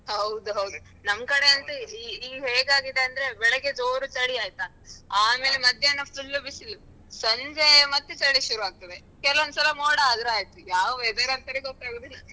ಹೌದೌದು ನಮ್ಕಡೆ ಅಂತೂ ಈ ಅಹ್ ಈಗ ಹೇಗಾಗಿದೆ ಅಂದ್ರೆ ಬೆಳಿಗ್ಗೆ ಜೋರು ಚಳಿ ಆಯ್ತಾ ಆಮೇಲೆ ಮಧ್ಯಾಹ್ನ full ಬಿಸಿಲು, ಸಂಜೆ ಮತ್ತೆ ಚಳಿ ಶುರು ಆಗ್ತದೆ, ಕೆಲವೊಂದ್ಸಲ ಮೋಡ ಆದ್ರೂ ಆಯ್ತು, ಯಾವ weather ಅಂತನೇ ಗೊತ್ತಾಗುದಿಲ್ಲ